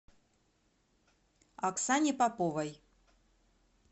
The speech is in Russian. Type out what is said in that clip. оксане поповой